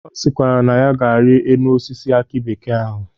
Ọ sịkwara na ya ga-enyi enu osisi akị bekee ahụ.